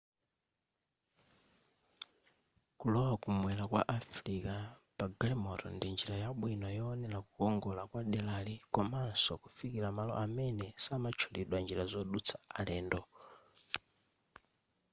kulowa kumwera kwa africa pa galimoto ndi njira yabwino yoonera kukongora kwa derali komanso kufikila malo amene samatchulidwa njira zodutsa alendo